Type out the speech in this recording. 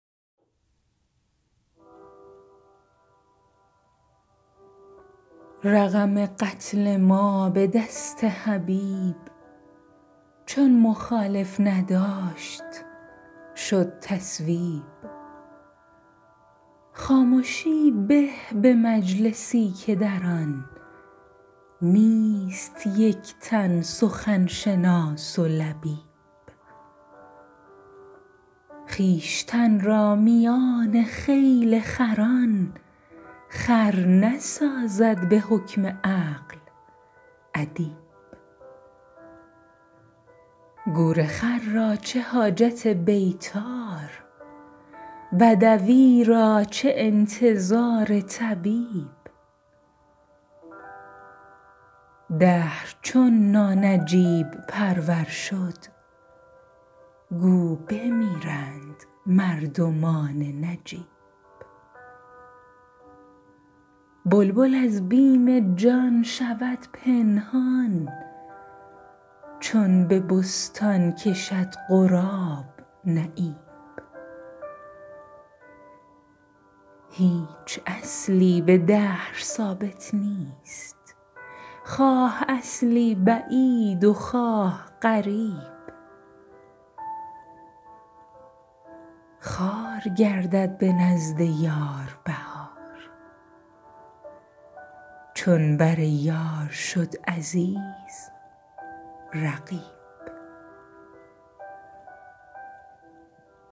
رقم قتل ما به دست حبیب چون مخالف نداشت شد تصویب خامشی به ز مجلسی که در آن نیست یک تن سخن شناس و لبیب خویشتن را میان خیل خران خر نسازد به حکم عقل ادیب گورخر را چه حاجت بیطار بدوی را چه انتظار طبیب دهر چون نانجیب پرور شد گو بمیرند مردمان نجیب بلبل از بیم جان شود پنهان چون به بستان کشد غراب نعیب از در احتیاج مردم بود آنچه دادند عاقلان ترتیب هیچ اصلی به دهر ثابت نیست خواه اصلی بعید و خواه قریب جای دیگر عجیب ننماید آنچه اینجا به چشم تو ست عجیب خوار گردد به نزد یار بهار چون بریار شد عزیز رقیب چه توان کرد چون نشد معتاد بینی خنفسا به نکهت طیب